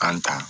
An ta